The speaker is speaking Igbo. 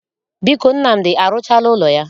Biko, Nnamdi arụchaala ụlọ ya?